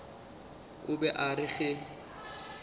o be a re ge